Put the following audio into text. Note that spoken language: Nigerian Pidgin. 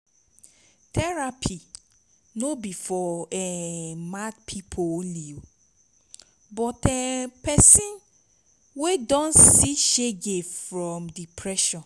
therapy no bi for um mad pipo only but um pesin wey don see shege from depression